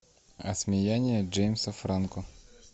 осмеяние джеймса франко